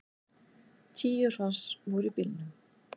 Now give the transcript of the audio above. Tíu hross voru í bílnum.